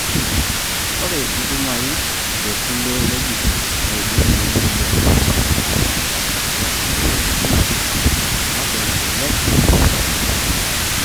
ore intumai tekulie wuejitin neidim siininche adapashakinoto kulie wuejitin osesen, kake melelek iyau keeya.